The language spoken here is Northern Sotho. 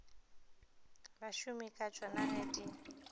basomi ka tsona ge di